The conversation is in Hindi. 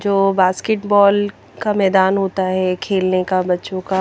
जो बास्केट बॉल का मैदान होता है खेलने का बच्चों का --